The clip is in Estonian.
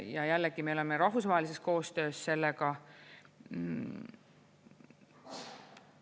Ja jällegi, me oleme rahvusvahelises koostöös sellega.